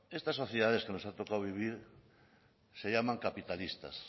estas sociedades que nos han tocado vivir se llaman capitalistas